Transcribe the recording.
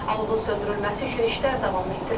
Alovun söndürülməsi üçün işlər davam etdirilir.